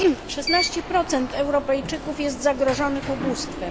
Szesnaście procent Europejczyków jest zagrożonych ubóstwem.